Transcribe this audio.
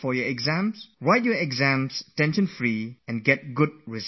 Please go write your exams, free from tension, and get good results